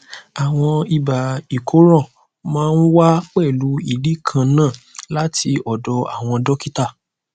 àmọ ibà ìkóràn máa ń wá pẹlú ìdí kan náà láti ọdọ àwọn dọkítà